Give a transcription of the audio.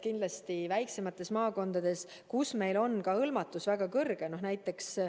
Kindlasti väiksemates maakondades on meil hõlmatus väga suur.